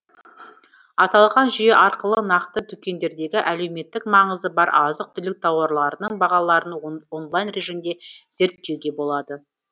аталған жүйе арқылы нақты дүкендердегі әлеуметтік маңызы бар азық түлік тауарларының бағаларын онлайн режимде зерттеуге болады